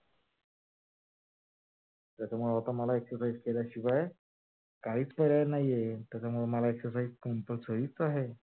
त्याच्यामुळे आता मला exercise केल्याशिवाय काहीच पर्याय नाही आहे. त्याच्यामुळे मला exercise compulsory करायचीच.